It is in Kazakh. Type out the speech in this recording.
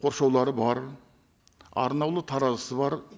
қоршаулары бар арнаулы таразысы бар